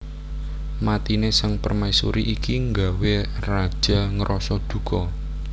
Matine Sang Permaisuri iki nggawé Raja ngrasa duka